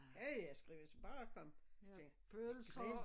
Ja ja skrev jeg så bare kom så tænkte jeg grill